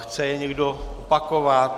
Chce je někdo opakovat?